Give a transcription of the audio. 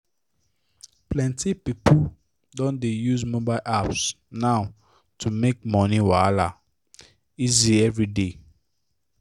plenty people don dey use mobile apps now to make money wahala easy every day.